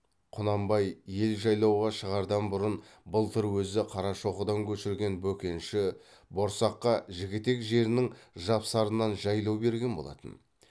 құнанбай ел жайлауға шығардан бұрын былтыр өзі қарашоқыдан көшірген бөкенші борсаққа жігітек жерінің жапсарынан жайлау берген болатын